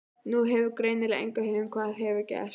Þú hefur greinilega enga hugmynd um hvað hefur gerst.